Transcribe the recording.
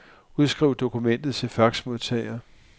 Udskriv dokumentet til faxmodtager.